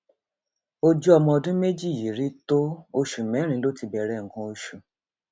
ojú ọmọ ọdún méjì yìí rí tó oṣù mẹrin ló ti bẹrẹ nǹkan oṣù